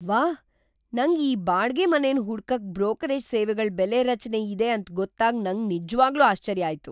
ವಾಹ್, ನಂಗ್ ಈ ಬಾಡಿಗೆ ಮನೆನ್ ಹುಡ್ಕಕ್ ಬ್ರೋಕರೇಜ್ ಸೇವೆಗಳ್ ಬೆಲೆ ರಚನೆ ಇದೆ ಅಂತ್ ಗೊತ್ತಾಗ್ ನಂಗ್ ನಿಜ್ವಾಗ್ಲೂ ಆಶ್ಚರ್ಯ ಆಯ್ತು.